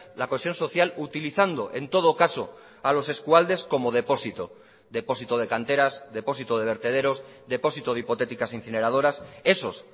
la cohesión social utilizando en todo caso a los eskualdes como depósito depósito de canteras depósito de vertederos depósito de hipotéticas incineradoras esos